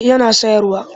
Eh yana sayarwa